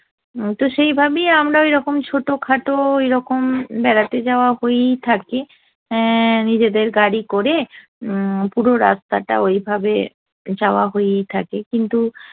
তো সেইভাবেই আমরা ওইরকম ছোটো খাটো এইরকম বেড়াতে যাওয়া হয়েই থাকি। এ্যা নিজেদের গাড়ি করে উম পুরো রাস্তাটা ওইভাবে যাওয়া হয়েই থাকে, কিন্তু